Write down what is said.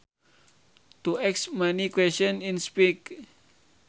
To ask many questions in speech